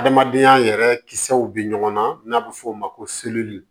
Adamadenya yɛrɛ kisɛw bɛ ɲɔgɔn na n'a bɛ f'o ma ko